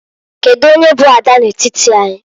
Kedu onye bụ ada n'etiti anyị?